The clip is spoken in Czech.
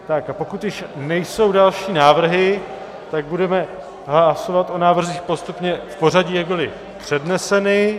A pokud již nejsou další návrhy, tak budeme hlasovat o návrzích postupně v pořadí, jak byly předneseny.